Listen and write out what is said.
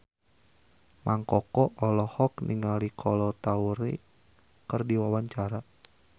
Mang Koko olohok ningali Kolo Taure keur diwawancara